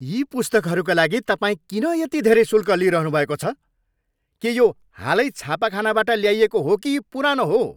यी पुस्तकहरूका लागि तपाईँ किन यति धेरै शुल्क लिइरहनुभएको छ? के यो हालै छापाखानाबाट ल्याइएको हो कि पुरानो हो?